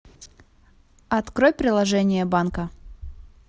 открой приложение банка